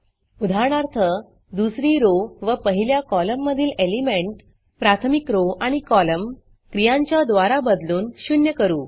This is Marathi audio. उदाहरणार्थ दुसरी rowरो व पहिल्या कॉलम मधील एलिमेंट प्राथमिक rowरो आणि कॉलम क्रियांच्याद्वारा बदलून शून्य करू